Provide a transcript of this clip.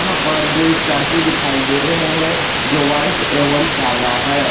यहां पर दो स्कॉर्पियो दिखाई दे रहे हैं जो वाइट एवं कला है।